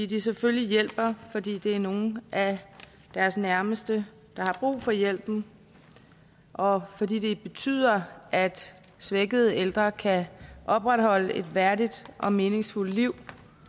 de selvfølgelig hjælper fordi det er nogle af deres nærmeste der har brug for hjælpen og fordi det betyder at svækkede ældre kan opretholde et værdigt og meningsfuldt liv